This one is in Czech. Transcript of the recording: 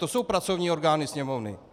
To jsou pracovní orgány Sněmovny!